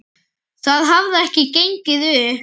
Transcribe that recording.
Það hefði ekki gengið upp.